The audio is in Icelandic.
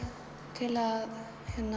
til að